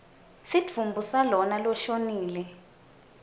sidvumbu salona loshonile